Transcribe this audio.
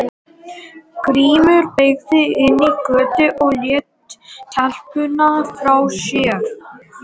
Grímur beygði inn í götuna og lét telpuna frá sér.